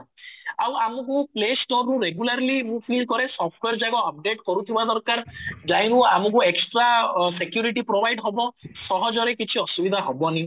ଆଉ ଆମକୁ play store ରୁ regularly ମୁଁ feel କରେ software ଯାକ update କରୁଥିବା ଦରକାର ରୁ ଆମକୁ extra security provide ହବ ସହଜ ରେ କିଛି ଅସୁବିଧା ହବନି